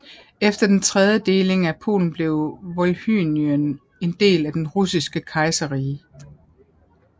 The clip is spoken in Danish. Efter den tredje deling af Polen blev Volhynien en del af det russiske kejserrige